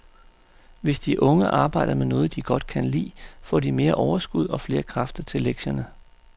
Hvis de unge arbejder med noget, de godt kan lide, får de mere overskud og flere kræfter til lektierne.